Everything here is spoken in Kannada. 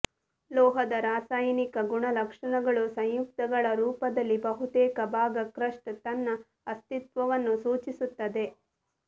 ಲೋಹದ ರಾಸಾಯನಿಕ ಗುಣಲಕ್ಷಣಗಳು ಸಂಯುಕ್ತಗಳ ರೂಪದಲ್ಲಿ ಬಹುತೇಕ ಭಾಗ ಕ್ರಸ್ಟ್ ತನ್ನ ಅಸ್ತಿತ್ವವನ್ನು ಸೂಚಿಸುತ್ತದೆ